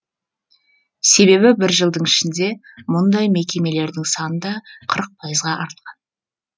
себебі бір жылдың ішінде мұндай мекемелердің саны да қырық пайызға артқан